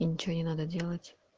и ничего не надо делать